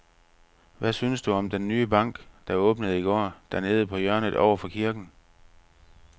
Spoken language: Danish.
Hvad synes du om den nye bank, der åbnede i går dernede på hjørnet over for kirken?